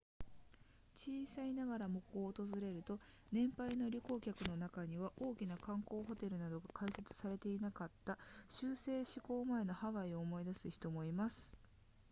小さいながらもここを訪れると年配の旅行客の中には大きな観光ホテルなどが開発されていなかった州制施行前のハワイを思い出す人もいます